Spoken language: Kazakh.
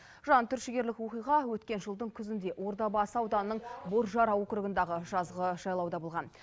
жан түршігерлік оқиға өткен жылдың күзінде ордабасы ауданының боржар округіндағы жазғы жайлауда болған